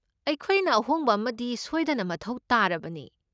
ꯑꯩꯈꯣꯏꯅ ꯑꯍꯣꯡꯕ ꯑꯃꯗꯤ ꯁꯣꯏꯗꯅ ꯃꯊꯧ ꯇꯥꯔꯕꯅꯤ꯫